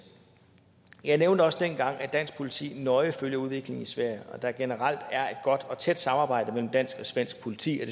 jeg nævnte også dengang at dansk politi nøje følger udviklingen i sverige og at der generelt er et godt og tæt samarbejde mellem dansk og svensk politi og